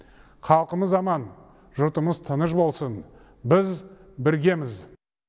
халқымыз аман жұртымыз тыныш болсын біз біргеміз